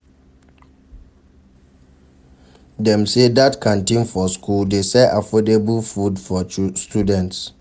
Dem sey dat canteen for school dey sell affordable food for students.